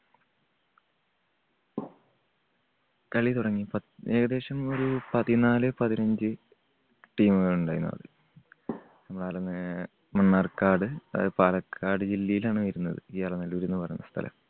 കളി തുടങ്ങി. പ ഏകദേശം ഒരു പതിനാല് പതിനഞ്ച് team കൾ ഉണ്ടായിരുന്നു മണ്ണാർക്കാട്, അത് പാലക്കാട് ജില്ലയിലാണ് വരുന്നത് ഈ അലനല്ലൂര് എന്ന് പറയുന്ന സ്ഥലം.